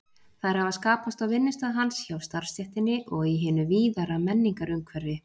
Þær hafa skapast á vinnustað hans, hjá starfsstéttinni og í hinu víðara menningarumhverfi.